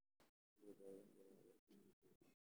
Sidee loo daweyn karaa cudurka Freibega?